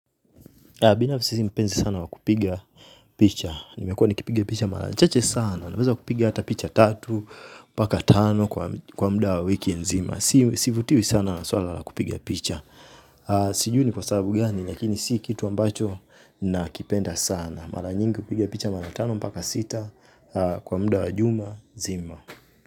Binafisi mpenzi sana wakupiga picha. Nimekuwa nikipiga picha mara chache sana. Wanaweza kupiga hata picha tatu, paka tano kwa muda wa wiki nzima. Sivutiwi sana nasuala la kupiga picha. Sijui ni kwa sababu gani, lakini si kitu ambacho nakipenda sana. Mara nyingi kupiga picha mara tano, mpaka sita, kwa muda wa juma, zima.